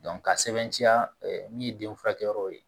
ka sɛbɛntiya min ye den furakɛ yɔrɔ ye